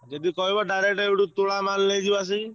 ଯଦି କହିବ ସେଠୁ direct ଆସି ତୋଳା ମାଲ ନେଇଯିବା ଆସିକି।